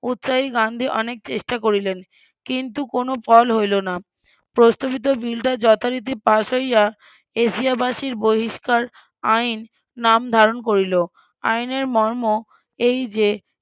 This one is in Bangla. উৎসাহী গান্ধী অনেক চেষ্টা করিলেন কিন্তু কোনো ফল হইল না প্রস্তাবিত বিলটা যথা রীতি পাস হইয়া এশিয়াবাসীর বহিষ্কার আইন নাম ধারন করিল আইনের মর্ম এই যে